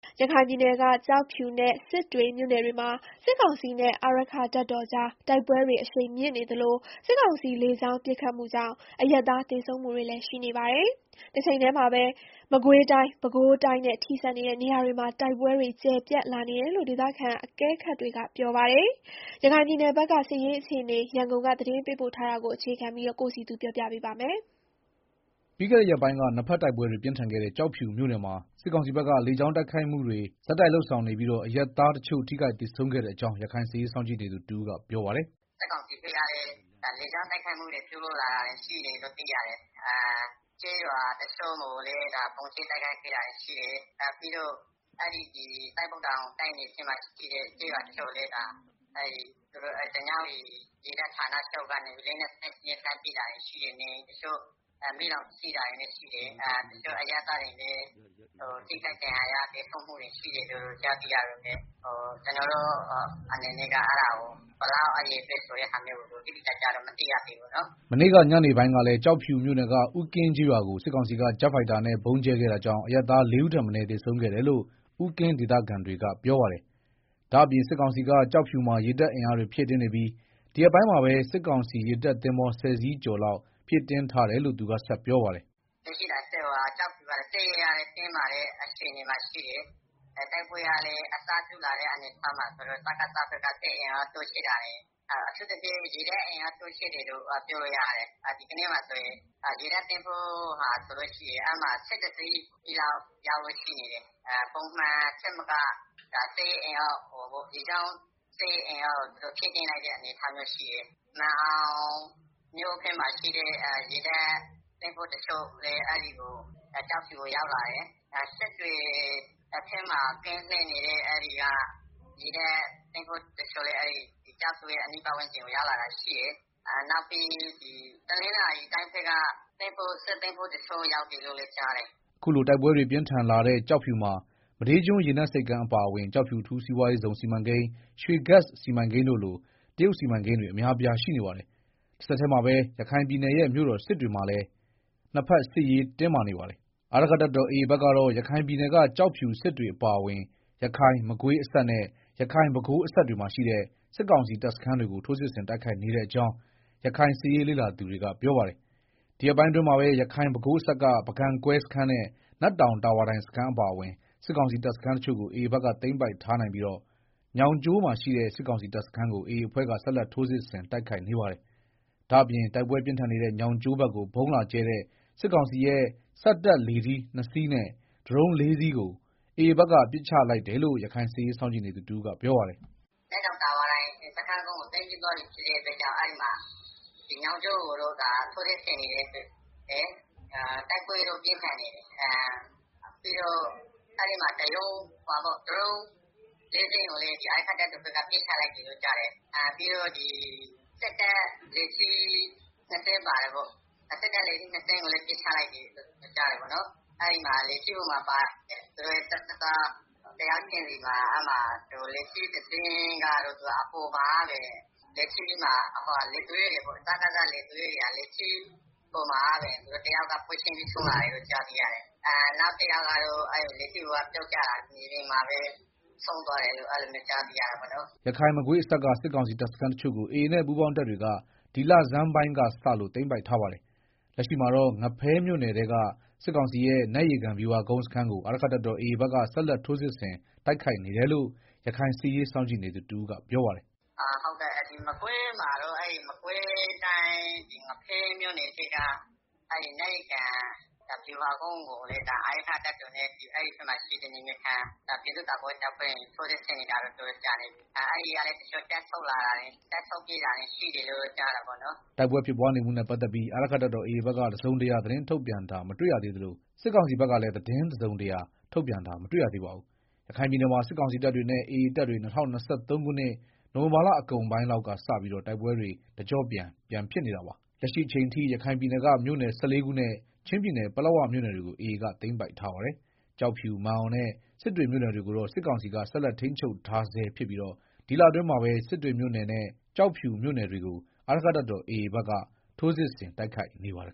ရခိုင်ပြည်နယ်က ကျောက်ဖြူနဲ့စစ်တွေမြို့နယ်တွေမှာ စစ်ကောင်စီနဲ့ အာရက္ခတပ်တော်ကြား တိုက်ပွဲတွေအရှိန်မြင့်နေသလို စစ်ကောင်စီလေကြောင်းပစ်ခတ်မှုကြောင့် အရပ်သား သေဆုံးမှု တွေလည်းရှိနေပါတယ်။ တချိန်တည်းမှာပဲ မကွေးတိုင်း၊ ပဲခူးတိုင်းနဲ့ ထိစပ်နေတဲ့ နေရာတွေမှာပါ တိုက်ပွဲတွေ ကျယ်ပြန့်လာနေတယ်လို့ ဒေသခံအကဲခတ်တွေက ပြောပါတယ်။ ရခိုင်ပြည်နယ် စစ်ရေးအခြေအနေ ရန်ကုန်က သတင်းပေးပို့ထားတာကို တင်ပြထားပါတယ်။ ပြီးခဲ့တဲ့ ရက်ပိုင်းက နှစ်ဘက်တိုက်ပွဲတွေ ပြင်းထန်ခဲ့တဲ့ ကျောက်ဖြူမြို့နယ်မှာ စစ်ကောင်စီဘက်က လေကြောင်းပစ်ခတ်မှုတွေကို ဆက်တိုက်လုပ်ဆောင်နေပြီး အရပ်သားတချို့ ထိခိုက်သေဆုံးခဲ့တဲ့အကြောင်း ရခိုင်စစ်ရေးစောင့်ကြည်နေသူတဦးကပြောပါတယ်။ “စစ်ကောင်စီဘက်ကလည်း လေကြောင်းတိုက်ခိုက်မှုတွေ ပြုလုပ်လာတာရှိတယ်လို့ သိရတယ်။ ကျေးရွာ တချို့ကိုလည်း ဗုံးကြဲတိုက်ခိုက်ခဲ့တာရှိတယ်။ ပြီးတော့ သစ်ပုတ်တောင် တိုက်နယ်ထဲမှာရှိတဲ့ ကျေးရွာတချို့ ကိုလည်း ဓညဝတီရေတပ်ဌာနချုပ်က လက်နက်ကြီးနဲ့ လှမ်းပစ်တာတွေကြောင့် နေအိမ်တွေ မီးလောင်တာ၊ တချို့အရပ်သားတွေ ထိခိုက်သေဆုံးတာတွေလည်းရှိတယ်။ အရေအတွက် တိတိကျကျတော့ မသိရသေးဘူး။” မနေ့က ညနေပိုင်းကလည်း ကျောက်ဖြူမြို့နယ်က ဦးကင်းကျေးရွာကို စစ်ကောင်စီက ဂျက်ဖိုက်တာနဲ့ ဗုံးကြဲခဲ့ တာကြောင့် အရပ်သားလေးဦးထက်မနည်းသေဆုံးခဲ့တယ်လို့ ဦးကင်း ဒေသခံတွေက ပြောပါတယ်။ ဒါ့ပြင် စစ်ကောင်စီက ကျောက်ဖြူမှာ ရေတပ်အင်အားဖြည့်တင်းနေပြီး ဒီရက်ပိုင်းမှာပဲ စစ်ကောင်စီရေတပ် သင်္ဘော ဆယ်စီးကျော်လောက်ဖြည့်တင်းထားတယ်လို့ သူကဆက်ပြောပါတယ်။ “လက်ရှိကျောက်ဖြူကတော့ စစ်ရေးအရ တင်းမာတဲ့ အခြေအနေမှာရှိတယ်။ တိုက်ပွဲကလည်း အစပြုလာတော့ စကစဘက်ကလည်း စစ်အင်အားတိုးချဲ့တာတွေ အထူးသဖြင့် ရေတပ်အင်အားတိုးချဲ့တယ်လို့ ပြောလို့ရပါတယ်။ ဒီရက်ပိုင်းမှာဆိုရင် ရေတပ်သင်္ဘော (၁၁) စီးလောက်ရောက်လို့ ရှိတယ်လို့ သိရတယ်။ ပုံအနေအထားထက် သူတို့ ရေတပ်အင်အားကို ဖြည့်တင်းလိုက်တဲ့ အနေအထားရှိတယ်။ မာန်အောင်ဘက်က ရေတပ်သင်္ဘော တချို့လည်း ကျောက်ဖြူကို ရောက်လာတယ်။ စစ်တွေဘက်မှာ ကင်းလှည့်နေတဲ့ သင်္ဘောတချို့လည်း ကျောက်ဖြူအနီးပတ်ဝန်းကျင်ကို ရောက်လာတာရှိတယ်။ နောက်ပြီး တနင်္သာရီတိုင်းဘက်က စစ်သင်္ဘောတချို့ ရောက်တယ်လို့လည်း ကြားတယ်။” အခုလို တိုက်ပွဲတွေပြင်းထန်လာတဲ့ ကျောက်ဖြူမှာ မဒေးကျွန်းရေနက်ဆိပ်ကမ်းအပါအဝင် ကျောက်ဖြူ အထူးစီးပွားရေးဇုန် စီမံကိန်း (SEZ) နဲ့ ရွှေဂက်စ်စီမံကိန်းတို့လို တရုတ်စီမံကိန်းတွေအများအပြား ရှိနေပါတဘ်။ တဆက်တည်းမှာပဲ ရခိုင်ပြည်နယ်ရဲ့ မြို့တော်စစ်တွေမှာလည်း နှစ်ဘက်စစ်ရေးတင်းမာနေပါတယ်။ အာရက္ခတပ်တော် AA ဘက်ကတော့ ရခိုင်ပြည်နယ်က ကျောက်ဖြူ၊ စစ်တွေအပါအဝင်ရခိုင်-မကွေးအစပ်နဲ့ ရခိုင်-ပဲခူးအစပ်တွေမှာရှိတဲ့ စစ်ကောင်စီတပ်စခန်းတွေကို ထိုးစစ်ဆင်တိုက်ခိုက်နေတဲ့အကြောင်း ရခိုင် စစ်ရေးလေ့လာသူတွေက ပြောပါတယ်။ ဒီရက်ပိုင်းအတွင်းမှာပဲ ရခိုင်-ပဲခူးအစပ်က ပုဂံကွဲစခန်းနဲ့ နတ်တောင်တာဝါတိုင်စခန်းအပါအဝင် စစ်ကောင်စီ တပ်စခန်းတချို့ကို AA ဘက်က သိမ်းပိုက်ထားနိုင်ပြီး ညောင်ကျိုးမှာရှိတဲ့ စစ်ကောင်စီတပ်စခန်းကို AA အဖွဲ့က ဆက်လက်ထိုးစစ်ဆင်တိုက်ခိုက်နေပါတယ်။ ဒါ့အပြင်တိုက်ပွဲပြင်းထန်နေတဲ့ ညောင်းကျိုးဘက်ကို ဗုံးလာကြဲတဲ့ စစ်ကောင်စီရဲ့ စက်တပ်လေထီးနှစ်စီးနဲ့ ဒရုန်း ၄ စီးကို AA ဘက်က ပစ်ချလိုက်တယ်လို့ ရခိုင်စစ်ရေးစောင့်ကြည့်နေသူ တဦးကပြောပါတယ်။ “နတ်တောင် တာဝါတိုင်စခန်းကို သိမ်းပြီးသွားပြီဖြစ်တဲ့အတွက် အဲဒီမှာ ညောင်ကျိုးကို ဆက်ပြီးတော့ ထိုးစစ်ဆင်နေတယ်။ တိုက်ပွဲလည်း ပြင်းထန်နေတယ်။ ပြီးတော့ ဒရုန်းလေးစင်းကိုလည်း အာရက္ခတပ် တော်ဘက်က ပစ်ချလိုက်တယ်လို့ ကြားတယ်။ ပြီးတော့ စစ်တပ်လေထီးနှစ်စင်းပါတယ်ပေါ့။ အဲဒါကိုလည်း ပစ်ချလိုက်တယ်လို့ကြားတယ်။ အဲဒီမှာ လေထီးတစီးချင်းစီပေါ်မှာပါတဲ့ လေသူရဲပေါ့။ တယောက်ကတော့ လေထီးပေါ်မှာကတည်းက ဆုံးလာတယ်လို့သိရတယ်။ နောက်ကယောက်ကတော့ လေထီးပေါ်ကပြုတ်ကျပြီး မြေပြင်မှာ ဆုံးသွားတယ်လို့ သိရတယ်။” ရခိုင်-မကွေးအစပ်က စစ်ကောင်စီတပ်စခန်းတချို့ကို AA နဲ့ ပူးပေါင်းတပ်တွေက ဒီလဆန်းပိုင်းကစလို့ သိမ်းပိုက်ထားပါတယ်။ လက်ရှိမှာတော့ ငဖဲမြို့နယ်ထဲက စစ်ကောင်စီရဲ့ နတ်ရေကန်ဗျူဟာကုန်းစခန်းကို အာရက္ခတပ်တော် AA ဘက်က ဆက်လက်ထိုးစစ်ဆင် တိုက်ခိုက်နေတယ်လို့ ရခိုင်စစ်ရေးစောင့်ကြည့်နေသူ တဦးကပြောပါတယ်။ “မကွေးမှာတော့ မကွေးတိုင်း ငဖဲမြို့နယ်ထဲက နတ်ရေကန်ဗျူဟာကုန်းကိုလည်း အာရက္ခတပ်တော်နဲ့ အဲဒီဘက်မှာရှိတဲ့ နယ်မြေခံ ပြည်သူ့ကာကွယ်ရေးတပ်ဖွဲ့တွေက ထိုးစစ်ဆင်နေတာ တော်တော်ကြာပါပြီ။ အဲဒီကလည်း တချို့ တပ်ဆုတ်ပြေးတာတွေရှိတယ်လို့ ကြားတယ်ပေါ့နော်။” တိုက်ပွဲဖြစ်ပွားနေမှုနဲ့ပတ်သက်ပြီးတော့ အာရက္ခတပ်တော် AA ဘက်က တစုံတရာသတင်းထုတ်ပြန်တာ မတွေ့ရသေးသလို စစ်ကောင်စီဘက်ကလည်း သတင်းတစုံတရာ ထုတ်ပြန်တာမတွေ့ရသေးပါဘူး။ ရခိုင်ပြည်နယ်မှာ စစ်ကောင်စီတပ်တွေနဲ့ AA တပ်တွေ ၂၀၂၃ ခုနှစ် နိုဝင်ဘာလအကုန်ပိုင်း လောက်ကစပြီး တိုက်ပွဲတွေ တကျော့ပြန်ဖြစ်နေတာပါ။ လက်ရှိအချိန်အထိ ရခိုင်ပြည်နယ်က မြို့နယ် (၁၄) ခုနဲ့ ချင်းပြည်နယ် ပလက်ဝမြို့နယ်တွေကို AA ဘက်က သိမ်းပိုက်ထားပါတယ်။ ကျောက်ဖြူ၊ မာန်အောင်နဲ့ စစ်တွေမြို့နယ်တွေကိုတော့ စစ်ကောင်စီက ဆက်လက် ထိန်းချုပ်ထားဆဲဖြစ်ပြီး ဒီလအတွင်းမှာပဲ စစ်တွေမြို့နယ်နဲ့ ကျောက်ဖြူမြို့နယ်တွေကို အာရက္ခတပ်တော် AA က ထိုးစစ်ဆင် တိုက်ခိုက်နေပါတယ်